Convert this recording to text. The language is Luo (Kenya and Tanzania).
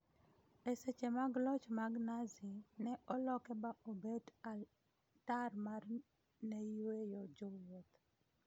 e seche mag loch mag Nazi, ne oloke ba obet altar ma neyuayo jowuoth